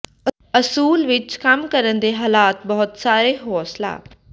ਅਸੂਲ ਵਿੱਚ ਕੰਮ ਕਰਨ ਦੇ ਹਾਲਾਤ ਬਹੁਤ ਸਾਰੇ ਹੌਸਲਾ